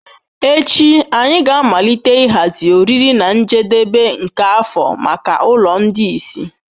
Echi anyị ga-amalite ịhazi oriri na njedebe nke afọ maka ụlọ ndị ìsì.